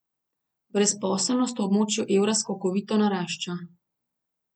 Brezposelnost v območju evra skokovito narašča.